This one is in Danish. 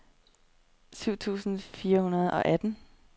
syv tusind fire hundrede og atten